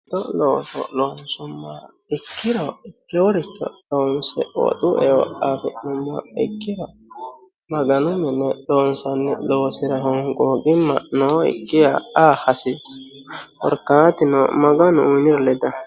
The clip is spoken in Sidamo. Mitto looso loonsumoha ikkiro ikewooricho loonse woxu eo afi'numoha ikkiro maganu mine loonsanni loosira honqooqima nookkiha aa hasiissano korkaatuno maganu uyiiniro ledanno.